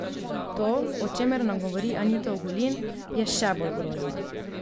To, o čemer nam govori Anita Ogulin, je še bolj grozno.